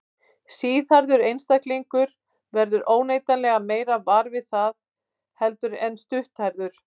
Síðhærður einstaklingur verður óneitanlega meira var við það heldur en stutthærður.